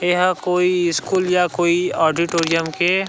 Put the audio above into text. यहाँ कोई स्कूल या कोई ऑडिटोरियम के--